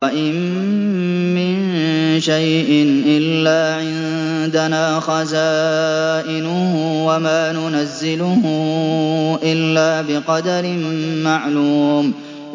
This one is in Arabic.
وَإِن مِّن شَيْءٍ إِلَّا عِندَنَا خَزَائِنُهُ وَمَا نُنَزِّلُهُ إِلَّا بِقَدَرٍ مَّعْلُومٍ